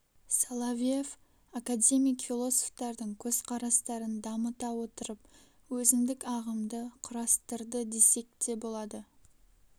соловьев академик философтардың көзқарастарын дамыта отырып өзіндік ағымды құрастырды десек те болады